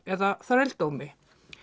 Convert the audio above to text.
eða þrældómi